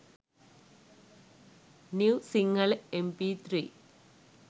new sinhala mp3